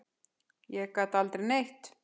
Ég gat aldrei neitt.